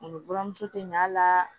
Olu buramuso tɛ ɲa a la